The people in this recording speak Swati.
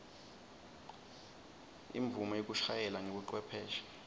imvumo yekushayela ngebucwepheshe